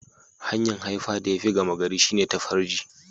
Hanya'n haifa da ya fi gama gari shine ta farji.